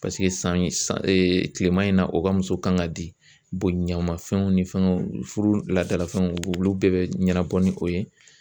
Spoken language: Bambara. Paseke san ye kilema in na u ka muso kan ka di boɲamafɛnw ni fɛngɛw furu laadalafɛnw olu bɛɛ be ɲɛnabɔ ni o ye.